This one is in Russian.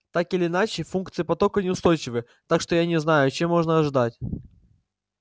так или иначе функции потока неустойчивы так что я не знаю чего можно ожидать